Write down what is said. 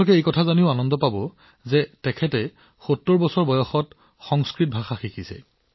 আপুনি জানি ভাল পাব যে ডঃ নিকিচে ৭০ বছৰ বয়সত সংস্কৃত শিকিছে